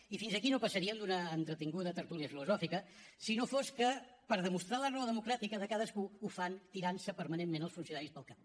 i fins aquí no passaríem d’una entretinguda tertúlia filosòfica si no fos que per demostrar la raó democràtica de cadascú ho fan tirant se permanentment els funcionaris pel cap